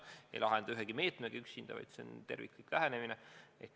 Neid ei lahenda ühegi meetmega üksinda, see peab olema terviklik lähenemine.